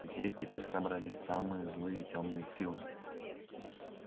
здесь теперь собрались самые злые тёмные силы